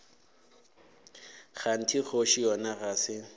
kganthe kgoši yona ga se